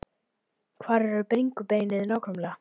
Hvar er bringubeinið nákvæmlega?